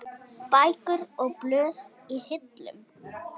Bækur og blöð í hillum.